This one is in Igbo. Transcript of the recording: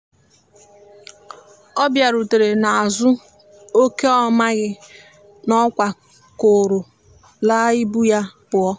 ọ biarutere n'azu okeọmaghi na ọkwa kọrọ la ibụ ya puọ